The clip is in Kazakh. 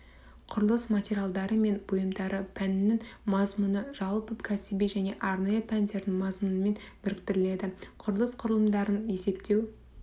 құрылыс материалдары мен бұйымдары пәнінің мазмұны жалпы кәсіби және арнайы пәндердің мазмұнымен біріктіріледі құрылыс құрылымдарын есептеу